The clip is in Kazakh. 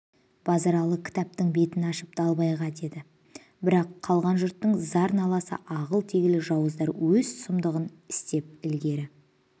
базаралы кітаптың бетін ашып далбайға деді бірақ қалған жұрттың зар-наласы ағыл-тегіл жауыздар өз сұмдығын істеп ілгері